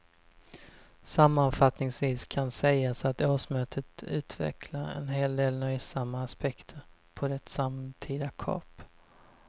Sammanfattningsvis kan sägas att årsmötet utvecklar en hel del nöjsamma aspekter på det samtida kap.